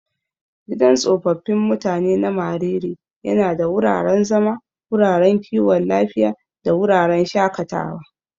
Gidan tsofaffin mutanen na Mariri yana da wuraren zama, wuraren kiwon lafiya, da wuraren shakatawa.